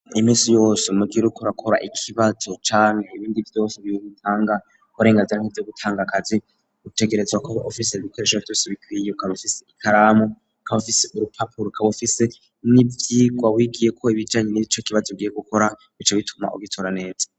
Iminsi yose mugihe uriko urakora ikibazo cane ibindi vyose bihuga bitanga arenganzira nivye gutanga akazi gutegerezwa kuba ufise bikoreshe vyose bikwiye ukabufise ikaramu kabufise urupapuro rkabufise n'ivyirwa wigiye ko ibijanye n'ibico kibazo ugiye gukora bico bituma ubitora neza.